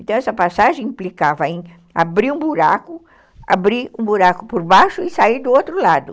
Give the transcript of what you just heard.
Então, essa passagem implicava em abrir um buraco, abrir um buraco por baixo e sair do outro lado.